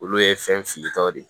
Olu ye fɛn filitaw de ye